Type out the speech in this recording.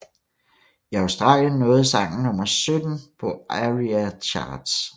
I Australien nåede sangen nummer 17 på ARIA Charts